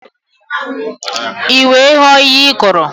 I wee ghọọ ihe ị kụrụ